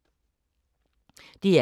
DR K